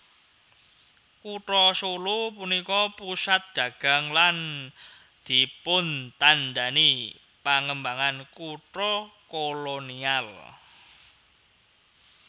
Kutha Solo punika pusat dagang lan dipuntandhani pangembangan kutha kolonial